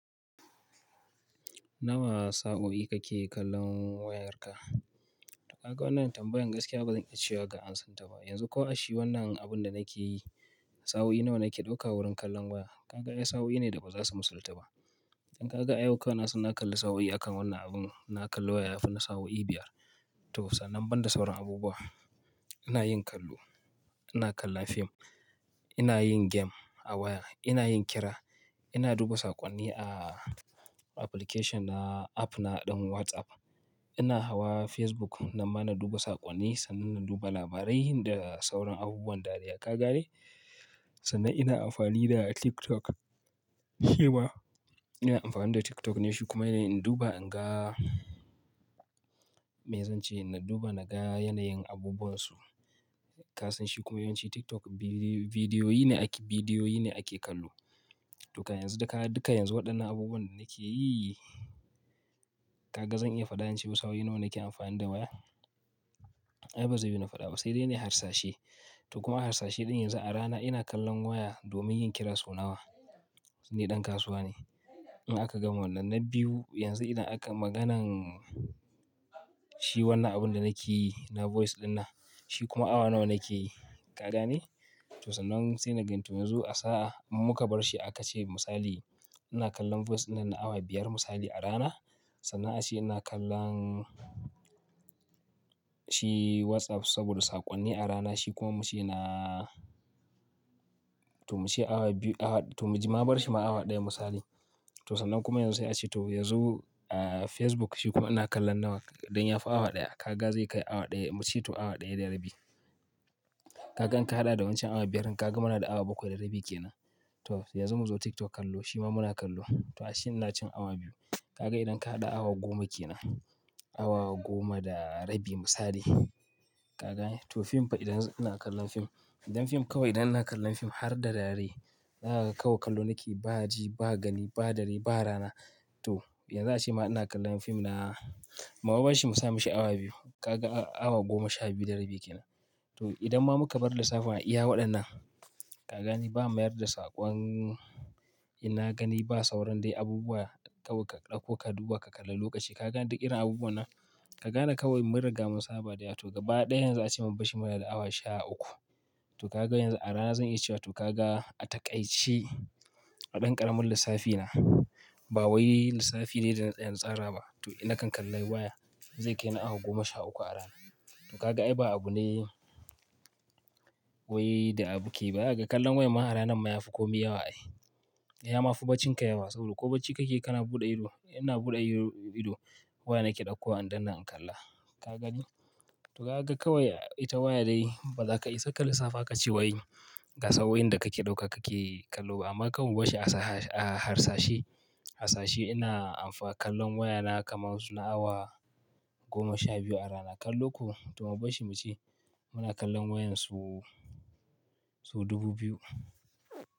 Nawa sa'o'i kake kallon wayarka? Ka ga wannan tambayan gaskiya bazan iya cewa ga ansan ta ba. Yanzu ko a shi wannan abun da nake yi, sa'o'i nawa nake dauka wurin kallon waya? Ka ga ya sa'o'i ne da baza su misalta ba. Dan ka ga ayauka wai na sana kalli sa'o'i akan wannan abun, na kalla waya fi na sa'o'i biyar. To sannan ban da sauran abubuwa. Ina yin kallo, ina kallon fim, ina yin game a waya, ina yin kira, ina duba saƙonni a application na app na ɗan WhatsApp, ina hawa Facebook nan ma na duba saƙonni sannan na duba labarai da sauran abubuwan da riya gane. Sannan ina amfani da TikTok. Haba! Ina amfani da TikTok ne shi kuma ne in duba in ga, me zan ce? Na duba na ga yanayin abubuwan su. Ka san shi kuma yawanci TikTok bidiyo ne ake, bidiyo ne ake kallo. To ka yanzu da ka, duka yanzu waɗannan abubuwan da nake yi, ka ga zan iya faɗa ince sa'o'i nawa nake amfani da waya? Ai bazayu na faɗa ba. Sai dai ne harsashe. To kuma harsashe ɗin yanzu a rana ina kallon waya domin yin kira sau nawa? Su ne ɗan kasuwa ne. In aka gama wannan na biyu, yanzu idan aka maganan, shi wannan abun da nake yi na voice ɗin nan, shi kuma awa nawa nake yi? Ka gane? To sannnan sai na gan to yanzu a sa'a in muka bar shi aka ce misali, ina kallon voice ɗin nan na awa biyar misali a rana. Sannan ace ina kallon, shi WhatsApp saboda saƙonni a rana shi kuma muke na, to muke awa biyu awa, to mu ji ma bar shi ma awa ɗaya misali. To sannan kuma yanzu ace to yanzu a Facebook shi kuma ina kallon nawa? Don ya fi awa ɗaya. Ka ga zai kai awa ɗaya mu ce to awa ɗaya da rabi. Ka gan ka haɗa da wancan awa biyar, ka ga muna da awa bakwai da rabi ke nan. To yanzu mu zo TikTok kallo shi ma muna kallo. To shi na cin awa biyu. Ka ga idan ka haɗa awa goma ke nan. Awa goma da rabi misali. Ka gani? To fim fa idan ina kallon fim. Idan fim kawai idan ina kallon fim har da dare, ka ga kawai kallo nake ba daji, ba gani, ba dare, ba rana. To yanzu ace ma ina kallon fim na, muban shi mu sa mishi awa biyu. Ka ga awa goma sha biyu da rabi ke nan. To idan ma muka bar lissafin a iya waɗannan, ka gani ba mayar da saƙon, ina gani ba sauran dai abubuwa kawai ka ɗauko ka duba ka kalla lokaci. Ka gan duk irin abubuwa nan? Ka gane kawai mun riga mun saba da ya. To gaba ɗaya yanzu ace maban shi muna da awa sha uku. To ka ga yanzu a rana zan iya cewa to ka ga a taƙaice a ɗan ƙaramin lissafi na, ba wai lissafi dai da na tsara ba. To ina kan kalli waya zai kai na awa goma sha uku a rana. To ka ga ai ba abu ne, wai da abuke baya. Ka kallan waya ma a rana mayafi komi yawa ai. Ya ma fi bacinka yawa saboda ko bacci kake kana buɗe ido, ina buɗe ido waya nake ɗauko an danna in kalla. Ka gani? To ka ga kawai ita waya dai baza ka isa ka lissafa ka ce wai ga sa'o'in da kake dauka kake kallo ba. Amma kawai bashi a harsashe. Harsashe ina amfa kallon waya na kamar suna awa goma sha biyu a rana. Kallo ko to aba shi mu ce muna kallon wayan sau, sau dubu biyu.